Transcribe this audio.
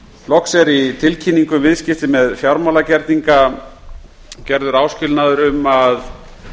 viðskiptasambands í tilkynningu um viðskipti með fjármálagerninga er gerður áskilnaður um að